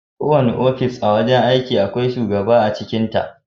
Kowane ofis a wajen aiki akwai shugaba a cikin sa.